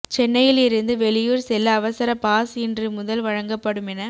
சென்னையில் இருந்து வெளியூர் செல்ல அவசர பாஸ் இன்று முதல் வழங்கப்படும் என